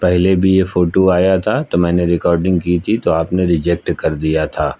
पहले भी यह फोटो आया था तो मैंने रिकॉर्डिंग की थी तो आपने रिजेक्ट कर दिया था।